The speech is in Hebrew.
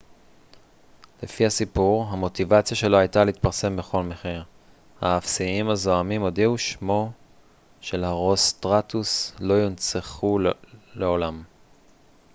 לפי הסיפור המוטיבציה שלו הייתה להתפרסם בכל מחיר האפסיים הזועמים הודיעו שמו של הרוסטראטוס לא יונצח לעולם